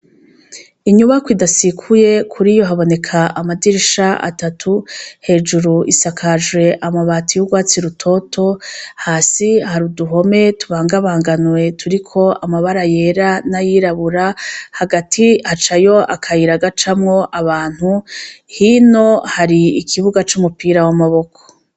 Inyubakwa idasekuye kure haboneka amadirisha atatu, hejuru isakajwe y'urwatsi rutoto, hasi hari uduhome tubangabanganwe turiko amabara yera n'ayirabura hagati hacayo akayira gacamwo abantu hino hari ikibuga c'umupira w'amaboko.